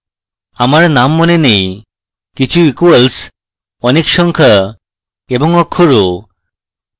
আমার name মনে নেইকিছু equals অনেক সংখ্যা এবং অক্ষরও